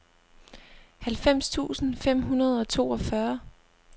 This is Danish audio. halvfems tusind fem hundrede og toogfyrre